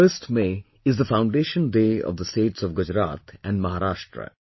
1st May is the foundation day of the states of Gujarat and Maharashtra